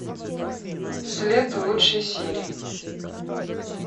след лучшие серии